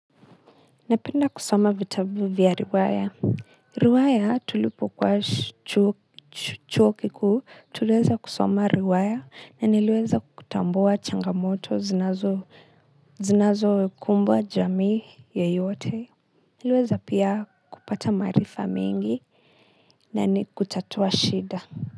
Napenda kusoma vitabu vya riwaya. Riwaya tulipo kuwa chuo kikuu tuliweza kusoma riwaya na niliweza kutambua changamoto zinazo zinazo kumbwa jamii yoyote. Niliweza pia kupata maarifa mengi na ni kutatua shida.